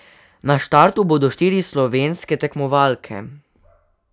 Na štartu bodo štiri slovenske tekmovalke.